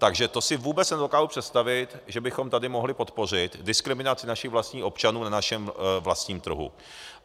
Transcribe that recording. Takže to si vůbec nedokážu představit, že bychom tady mohli podpořit diskriminaci našich vlastních občanů na našem vlastním trhu.